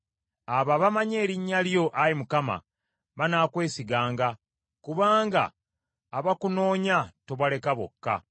Abo abamanyi erinnya lyo, Ayi Mukama , banaakwesiganga; kubanga abakunoonya tobaleka bokka.